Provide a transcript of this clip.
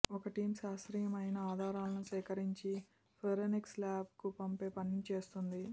ఒక్క టీమ్ శాస్త్రీయమైన ఆధారాలను సేకరించి ఫోరెన్సిక్ ల్యాబ్ కు పంపే పనిని చూస్తోంది